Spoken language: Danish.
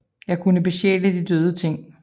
Jeg kunne besjæle de døde ting